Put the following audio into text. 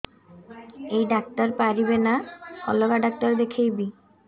ଏଇ ଡ଼ାକ୍ତର ପାରିବେ ନା ଅଲଗା ଡ଼ାକ୍ତର ଦେଖେଇବି